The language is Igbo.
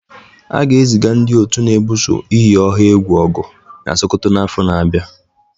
A ga-eziga ndị otu na-ebuso iyi ọha egwu ọgụ na Sokoto n'afọ na-abịa.